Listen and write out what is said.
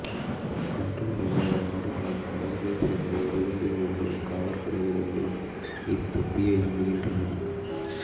இன்றும் பல்வேறு நாடுகளின் படைகளைச் சேர்ந்த எறிகுண்டு வீரர்களும் காவற்படை வீரர்களும் இத்தொப்பியை அணிகின்றனர்